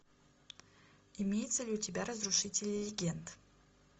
имеется ли у тебя разрушители легенд